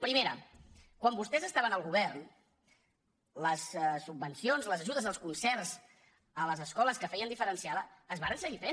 primera quan vostès estaven al govern les subvencions les ajudes als concerts a les escoles que feien diferenciada es varen seguir fent